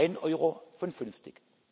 Ein Euro von fünfzig.